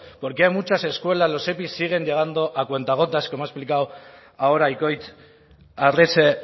por qué a muchas escuelas los epi siguen llegando a cuentagotas como ha explicado ahora ikoitz arrese